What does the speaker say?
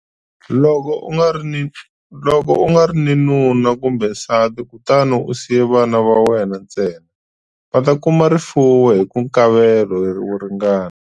Loko u nga ri ni nuna kumbe nsati kutani u siye vana va wena ntsena, va ta kuma rifuwo hi nkavelo wo ringana.